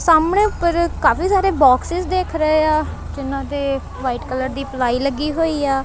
ਸਾਹਮਣੇ ਉੱਪਰ ਕਾਫੀ ਸਾਰੇ ਬੋਕ੍ਸਿਸ ਦਿਖ ਰਹੇ ਆ ਜਿਨ੍ਹਾਂ ਦੇ ਵਾਈਟ ਕਲਰ ਦੀ ਪਲਾਈ ਲੱਗੀ ਹੋਈ ਆ।